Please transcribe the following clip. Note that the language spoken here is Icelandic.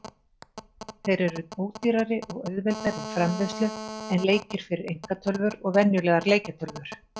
Þeir eru ódýrari og auðveldari í framleiðslu en leikir fyrir einkatölvur og venjulegar leikjatölvur.